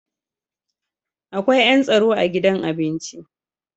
Akwai yan tsaro a gidan abinci.